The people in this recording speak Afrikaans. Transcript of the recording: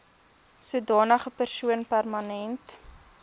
sodanige persoon permanent